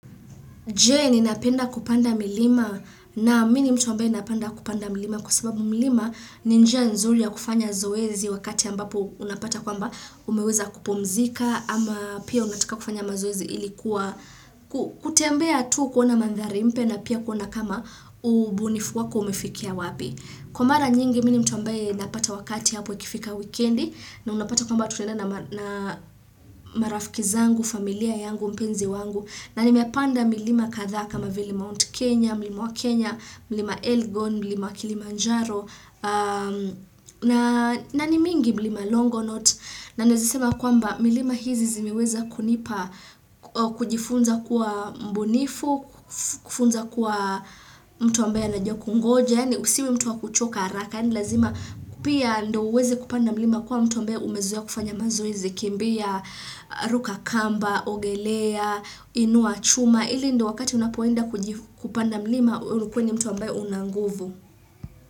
Je ninapenda kupanda milima? Naam mi ni mtu ambaye napenda kupanda milima kwa sababu milima ni njia nzuri ya kufanya zoezi wakati ambapo unapata kwamba umeweza kupumzika ama pia unataka kufanya mazoezi ili kuwa kutembea tu kuna mandhari mpya na pia kuona kama ubunifu wako umefikia wapi. Kwa mara nyingi mi ni mtu ambaye napata wakati hapo ikifika wikendi na unapata kwamba tunaenda na na marafiki zangu, familia yangu, mpenzi wangu na nimepanda milima kadhaa kama vile Mount Kenya, mlima wa Kenya, mlima Elgon, mlima Kilimanjaro na ni mingi mlima Longonaut na naezesema kwamba milima hizi zimiweza kunipa kujifunza kuwa mbunifu, kufunza kuwa mtu ambaye anajua kungoja yani usiwe mtu wa kuchoka haraka, yani lazima pia ndo uweze kupanda mlima kuwa mtu ambaye umezoea kufanya mazoezi kimbia, ruka kamba, ogelea, inua chuma. Ili ndo wakati unapoenda kuji kupanda mlima, ukuwe ni mtu ambaye una nguvu.